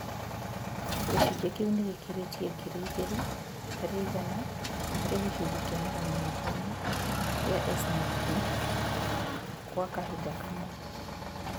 gĩcunjĩ kĩu nĩgĩkĩrite ngiri igĩri hari iganaharĩ gicunjĩ kia magana matano gĩa S na P kwa kahinda kamwe